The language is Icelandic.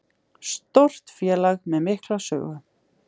Stórt félag með mikla sögu